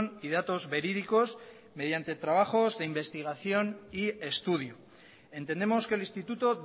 y datos verídicos mediante trabajos de investigación y estudio entendemos que el instituto